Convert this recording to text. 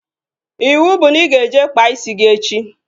Iwu bụ na ị ga-eje kpaa isi gị echi!